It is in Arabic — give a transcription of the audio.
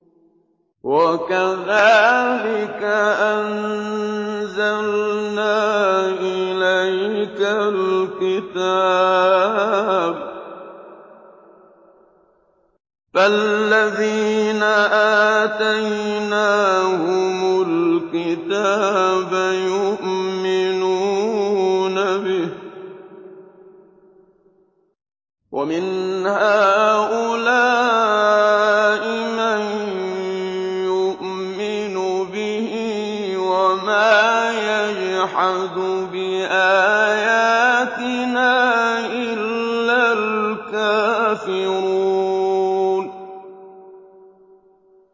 وَكَذَٰلِكَ أَنزَلْنَا إِلَيْكَ الْكِتَابَ ۚ فَالَّذِينَ آتَيْنَاهُمُ الْكِتَابَ يُؤْمِنُونَ بِهِ ۖ وَمِنْ هَٰؤُلَاءِ مَن يُؤْمِنُ بِهِ ۚ وَمَا يَجْحَدُ بِآيَاتِنَا إِلَّا الْكَافِرُونَ